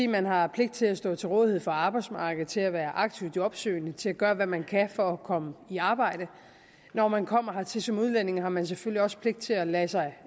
man har pligt til at stå til rådighed for arbejdsmarkedet til at være aktivt jobsøgende til at gøre hvad man kan for at komme i arbejde når man kommer hertil som udlænding har man selvfølgelig også pligt til at lade sig